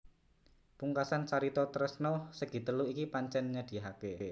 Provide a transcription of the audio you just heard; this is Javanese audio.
Pungkasan carita tresna segitelu iki pancèn nyedhihaké